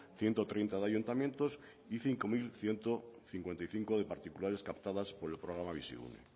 ciento treinta de ayuntamientos y cinco mil ciento cincuenta y cinco de particulares captadas por el programa bizigune